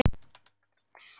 Lánsöm vorum við.